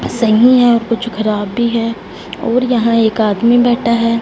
सही हैं और कुछ खराब भी हैं और यहां एक आदमी बैठा है।